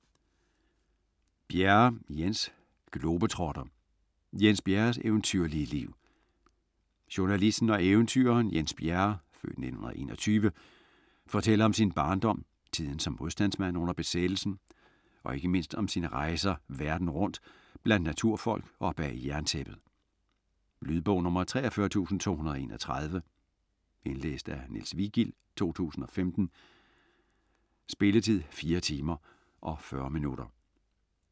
Bjerre, Jens: Globetrotter: Jens Bjerres eventyrlige liv Journalisten og eventyreren Jens Bjerre (f. 1921) fortæller om sin barndom, tiden som modstandsmand under besættelsen og ikke mindst om sine rejser verden rundt, blandt naturfolk og bag jerntæppet. Lydbog 43231 Indlæst af Niels Vigild, 2015. Spilletid: 4 timer, 40 minutter.